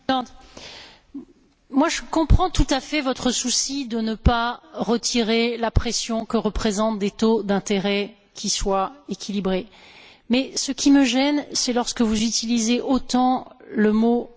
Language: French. Je comprends tout à fait votre souci de ne pas retirer la pression que représentent des taux d'intérêt équilibrés, mais ce qui me gêne, c'est lorsque vous utilisez autant le mot bon ou mauvais.